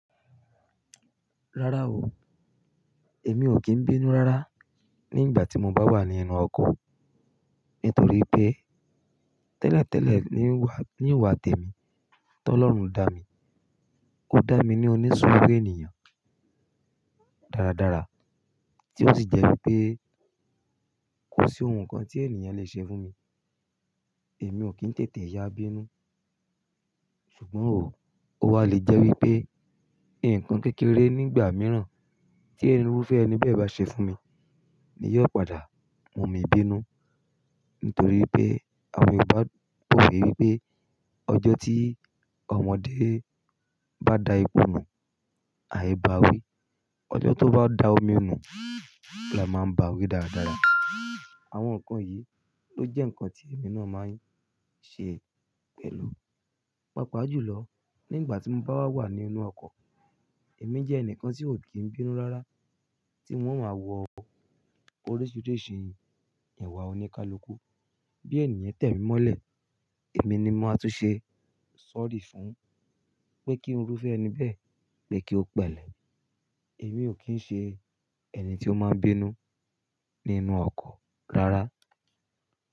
Rárá o, èmi ò kín bínú rárá nígbà tí mo bá wà nínú ọkọ̀ nítorí pé tẹ́lẹ̀tẹ́lẹ̀ ni wà, ni wà tèmi tó Ọlọ́run dá mi. Ó dá mi ní onísúru ènìyàn dáradára tí ó sì jẹ́ wípé kò sí ohun kan tí ènìyàn le ṣe fún mi. Èmi ò kín tètè ya bínú. Ṣùgbọ́n ò, ó wa lè jẹ́ wípé ǹkan kékeré nígbà mìíràn tí ẹ̀rùrúfẹ́ ẹni bẹ́ẹ̀ bá ṣe fún mi ni yóò padà mú mi bínú. Nítorí pé àwọn Yorùbá pọ̀ wewípé ọjọ́ tí ọmọdé bá da ipò nù, àì bá a wí. Ọjọ́ tó bá dá omi nù, à máa bá wí dáadáa. Àwọn ǹkan yìí ló jẹ́ ǹkan tí èmi náà máa ń ṣe pẹ̀lú. Pápàá jùlọ nígbà tí mo bá wà nínú ọkọ̀, èmi jẹ́ ẹnìkan tí ò kín bínú rárá tí wọ́n máa wọ orísirísi ìwà oníkálukú. Bí ènìyàn tẹ̀mí mọ́lẹ̀, èmi ni máa tún ṣe sorry fún pé kí irúfẹ́ ẹni bẹ́ẹ̀ pé kí ó pẹ̀lẹ́. Èmi ò kín ṣe ẹni tí ó máa ń bínú nínú ọkọ̀ rárá.